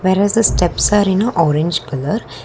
where as the steps are in orange colour.